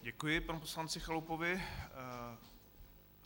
Děkuji panu poslanci Chalupovi.